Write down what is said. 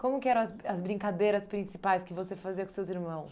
Como que eram as as brincadeiras principais que você fazia com seus irmãos?